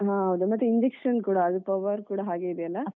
ಹ ಮತ್ತೆ injection ಕೂಡ ಅದು power ಕೂಡ ಹಾಗೆ ಇದೆ ಅಲಾ ?